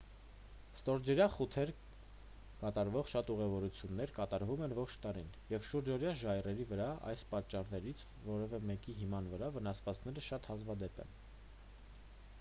ստորջրյա խութեր կատարվող շատ ուղևորություններ կատարվում են ողջ տարին և ստորջրյա ժայռերի վրա այս պատճառներից որևէ մեկի հիման վրա վնասվածքները շատ հազվադեպ են